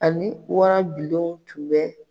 Ani warabilen tun bɛ .